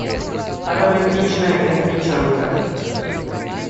романтичная англичанка